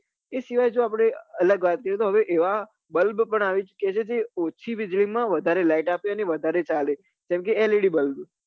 એ સિવાય જો આપડે અલગ વાત કરીએ તો હવે એ bulb પણ આવી ચુક્યા છે જે ઓછી વીજળી માં વધારે light આપે અને વધારે ચાલે જેમ કે led bulb